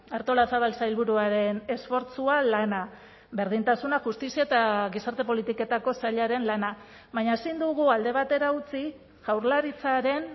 artolazabal sailburuaren esfortzua lana berdintasuna justizia eta gizarte politiketako sailaren lana baina ezin dugu alde batera utzi jaurlaritzaren